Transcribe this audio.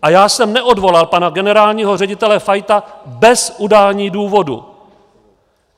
A já jsem neodvolal pana generálního ředitele Fajta bez udání důvodu.